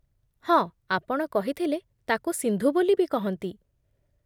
ହଁ, ଆପଣ କହିଥିଲେ ତାକୁ ସିନ୍ଧୁ ବୋଲି ବି କହନ୍ତି ।